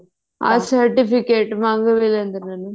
ਹਾਂ certificate ਮੰਗ ਵੀ ਲੈਂਦੇ ਨੇ ਨਾ